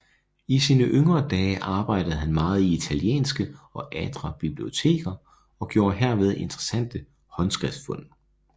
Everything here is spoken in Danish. I sine yngre dage arbejdede han meget i italienske og adre biblioteker og gjorde herved interessante håndskriftfund